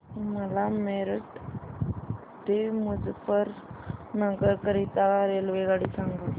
मला मेरठ ते मुजफ्फरनगर करीता रेल्वेगाडी सांगा